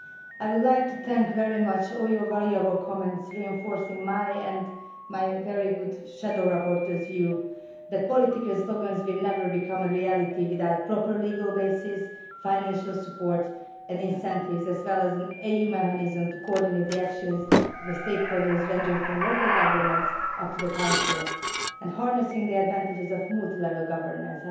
I would like to thank you very much for all your valuable comments. They reinforce my and my very good shadow rapporteurs' view that political slogans will never become a reality without a proper legal basis, financial support and incentives as well as an EU mechanism to coordinate the actions of the stakeholders, ranging from local governments up to the Council and harnessing the advantages of multi level governance.